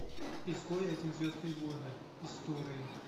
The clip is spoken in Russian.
изгой один звездные войны истории